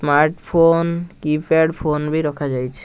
Smart phone keypad phone ବି ରଖା ଯାଇଛି।